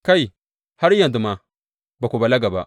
Kai, har yanzu ma, ba ku balaga ba.